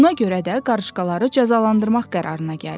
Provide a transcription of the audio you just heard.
Buna görə də qarışqaları cəzalandırmaq qərarına gəldi.